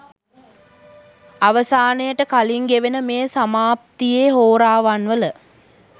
අවසානයට කලින් ගෙවෙන මේ සමාප්තියේ හෝරාවන්වල